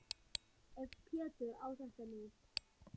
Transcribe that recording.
Ef Pétur á þetta nú.